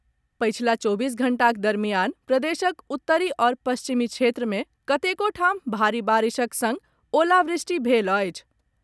पछिला चौबीस घंटाक दरमियान प्रदेशक उत्तरी आओर पश्चिमी क्षेत्र मे कतेको ठाम भारि बारिशक संग ओलावृष्टि भेल अछि।